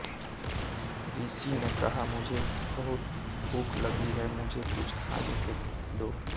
ऋषि ने कहा मुझे बहुत भूख लगी है मुझे कुछ खाने को दो